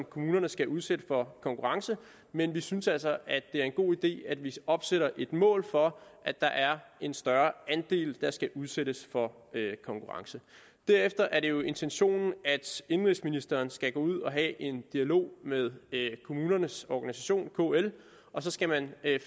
kommunerne skal udsætte for konkurrence men vi synes altså at det er en god idé at vi opstiller et mål for at der er en større andel der skal udsættes for konkurrence derefter er det jo intentionen at indenrigsministeren skal gå ud og have en dialog med kommunernes organisation kl og så skal man